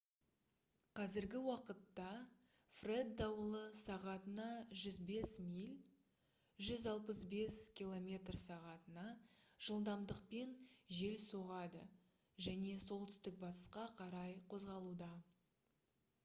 қазіргі уақытта фред дауылы сағатына 105 миль 165 км/сағ жылдамдықпен жел соғады және солтүстік-батысқа қарай қозғалуда